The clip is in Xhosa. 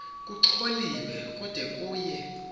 kucholiwe kude kuye